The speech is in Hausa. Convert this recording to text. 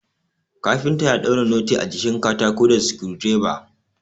Kafinta ya daura noti a jikin katako da sukudireba